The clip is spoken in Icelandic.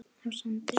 á Sandi.